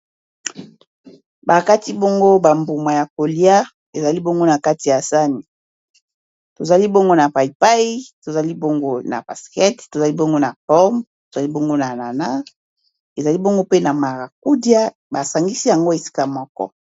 Bakati bongo ba mbuma ya kolia ezali bongo na kati ya sani tozali bongo na payay, tozali bongo na pastèque, tozali bongo na pomme, tozali bongo na ananas, ezali bongo pe na maracudia, basangisi yango esika moko.